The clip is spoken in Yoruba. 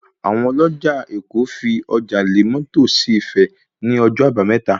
Àwọn ọlọ́jà èkó fi ọjà lé mọ́tò sí Ifẹ̀ ní ọjọ́ àbámẹ́ta